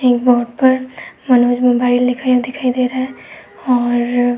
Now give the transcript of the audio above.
board पर Manoj mobile लिखाया दिखाई दे रहा है और --